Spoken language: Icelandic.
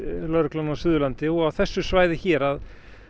lögreglan á Suðurlandi og þessu svæði hér að